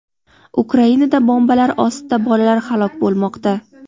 Ukrainada bombalar ostida bolalar halok bo‘lmoqda.